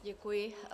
Děkuji.